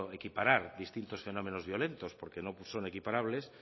equiparar distintos fenómenos violentos porque nos son equiparables